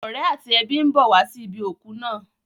Àwọn ọ̀rẹ́ àti ẹbí ń bọ̀ wá sí ibi òkú náà.